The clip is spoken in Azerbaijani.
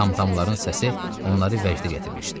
Tamtamların səsi onları vəcdə gətirmişdi.